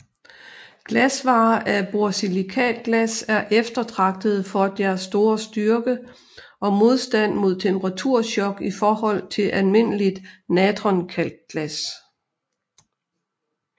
Glasvarer af borsilikatglas er eftertragtede for deres store styrke og modstand mod temperaturchok i forhold til almindeligt natronkalkglas